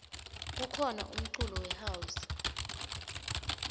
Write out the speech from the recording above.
kukhona umculo we house